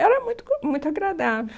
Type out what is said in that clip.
Era muito bom, muito agradável.